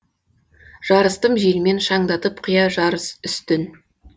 жарыстым желмен шаңдатып қия жар үстін